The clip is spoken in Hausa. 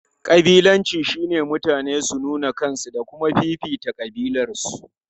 Kabilanci shine mutane su nuna kansu da kuma fifita kabilarsu.